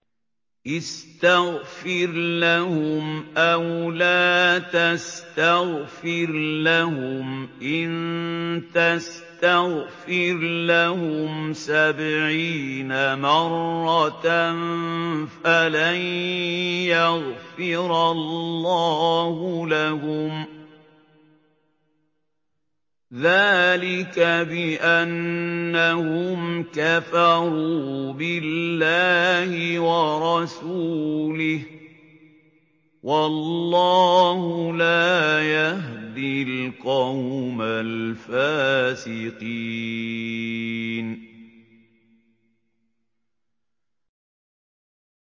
اسْتَغْفِرْ لَهُمْ أَوْ لَا تَسْتَغْفِرْ لَهُمْ إِن تَسْتَغْفِرْ لَهُمْ سَبْعِينَ مَرَّةً فَلَن يَغْفِرَ اللَّهُ لَهُمْ ۚ ذَٰلِكَ بِأَنَّهُمْ كَفَرُوا بِاللَّهِ وَرَسُولِهِ ۗ وَاللَّهُ لَا يَهْدِي الْقَوْمَ الْفَاسِقِينَ